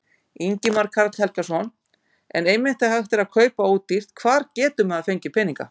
Ingimar Karl Helgason: En einmitt þegar hægt er kaupa ódýrt, hvar getur maður fengið peninga?